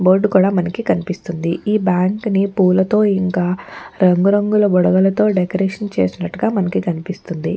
Board కూడా మనకి కనిపిస్తుంది ఈ బ్యాంకు నీ పూలతో ఇంకా రంగు రంగుల బుడగలతో డెకరేషన్ చేసినట్టుగా మనకి కనిపిస్తుంది.